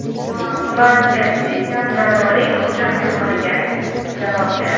Van Persi jamoaning hujum chizig‘iga javob beradi.